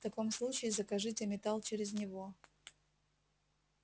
в таком случае закажите металл через него